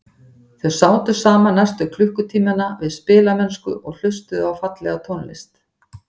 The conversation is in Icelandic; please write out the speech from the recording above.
Þau sátu saman næstu klukkutímana við spilamennsku og hlustuðu á fallega tónlist.